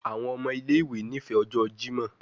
Awọn ọmọ ile-iwe nifẹ ọjọ Jimọ